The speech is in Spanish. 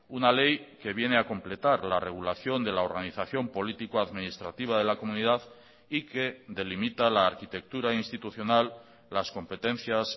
una ley que viene a completar la regulación de la organización político administrativa de la comunidad y que delimita la arquitectura institucional las competencias